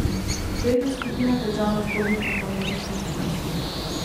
Tretja skupina težav nastopi pri fonetični sliki.